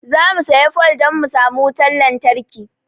Zamu siya fole dan mu samu wutan lantarki